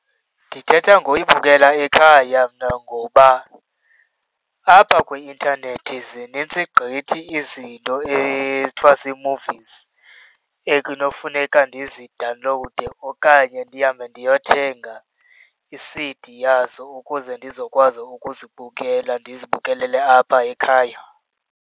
Ndithetha ngoyibukela ekhaya mna ngoba apha kwi-intanethi zinintsi gqithi izinto ezithiwa zii-movies ekunokufuneka ndizidawunlowude okanye ndihambe ndiyothenga i-C_D yazo ukuze ndizokwazi ukuzibukela, ndizibukelele apha ekhaya.